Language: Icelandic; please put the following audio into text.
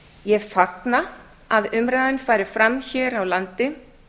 ég fagna að umræðan fari fram hér á landi